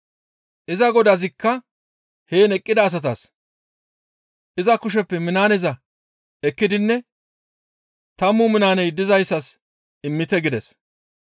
«Iza godazikka heen eqqida asata, ‹Iza kusheppe minaaneza ekkidinne tammu minaaney dizayssas immite› gides.